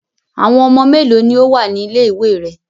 Àwọn ọmọ mélòó ni ó wà ní ilé-ìwé rẹ?